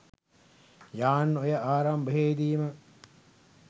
යාන් ඔය ආරම්භයේ දීම